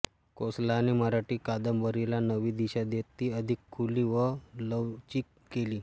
कोसलाने मराठी कादंबरीला नवी दिशा देत ती अधिक खुली व लवचिक केली